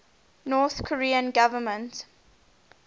north korean government